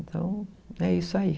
Então, é isso aí.